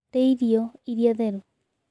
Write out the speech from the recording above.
Rĩa irio ĩrĩa therũ